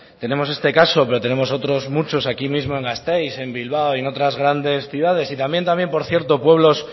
tenemos este caso pero tenemos otros muchos aquí mismo en gasteiz en bilbao y en otras grandes ciudades y también por cierto pueblos